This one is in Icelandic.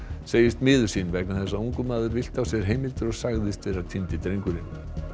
segist miður sín vegna þess að ungur maður villti á sér heimildir og sagðist vera týndi drengurinn